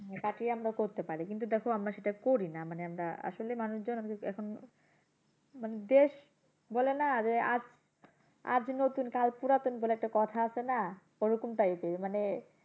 তাতেই আমরা করতে পারি। কিন্তু দেখো আমরা সেটা করি না আসলে মানুষজন এখন মানে দেশ বলে না যে আজ নতুন কাল পুরাতন বলে একটা কথা আছে না? ওরকম type এর মানে